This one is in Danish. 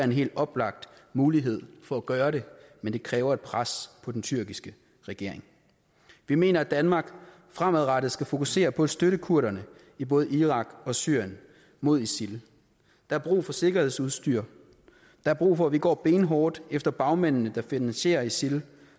en helt oplagt mulighed for at gøre det men det kræver et pres på den tyrkiske regering vi mener at danmark fremadrettet skal fokusere på at støtte kurderne i både irak og syrien mod isil der er brug for sikkerhedsudstyr der er brug for at vi går benhårdt efter bagmændene der finansierer isil